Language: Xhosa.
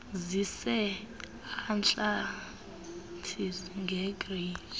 zise atlantis egeorge